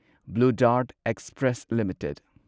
blue dart express limited